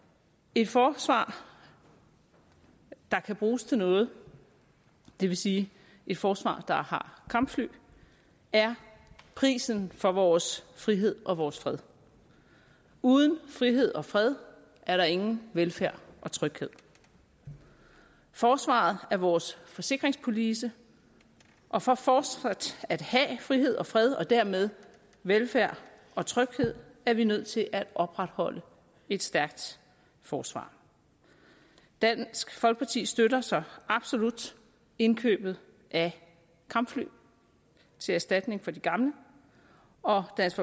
et forsvar der kan bruges til noget det vil sige et forsvar der har kampfly er prisen for vores frihed og vores fred uden frihed og fred er der ingen velfærd og tryghed forsvaret er vores forsikringspolice og for fortsat at have frihed og fred og dermed velfærd og tryghed er vi nødt til at opretholde et stærkt forsvar dansk folkeparti støtter så absolut indkøbet af kampfly til erstatning for de gamle og dansk